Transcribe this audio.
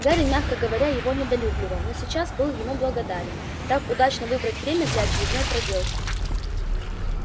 гарри мягко говоря его недолюбливал но сейчас был ему благодарен так удачно выбрать время для очередной проделки